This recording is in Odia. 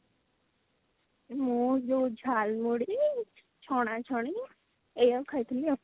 ମୁଁ ଯୋଉ ଝାଲମୁଢି ଛଣା ଛଣି ଏଇୟାକୁ ଖାଇଥିଲି ଆଉ